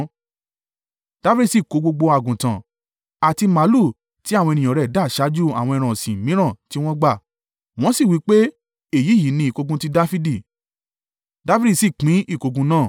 Dafidi sì kó gbogbo àgùntàn, àti màlúù tí àwọn ènìyàn rẹ̀ dà ṣáájú àwọn ẹran ọ̀sìn mìíràn tí wọ́n gbà, wọ́n sì wí pé, “Èyí yìí ni ìkógun ti Dafidi.”